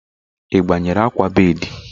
Ị gbanwere akwa bedii?